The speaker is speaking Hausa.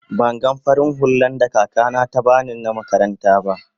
ban gan farin hulla da kaka na ta bani na makaranta ba.